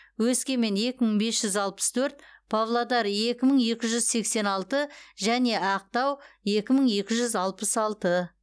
өскемен екі мың бес жүз алпыс төрт павлодар екі мың екі жүз сексен алты және ақтау екі мың екі жүз алпыс алты